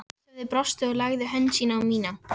Svarthöfði brosti og lagði hönd sína á mína